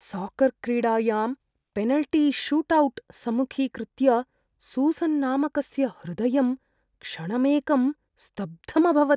Soccer क्रीडायां penalty shootout सम्मुखीकृत्य Susan नामकस्य हृदयं क्षणमेकं स्तब्धम् अभवत्।